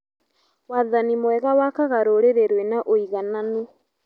Wathani mwega wakaga rũrĩrĩ rwĩna ũigananu.